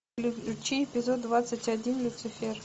включи эпизод двадцать один люцифер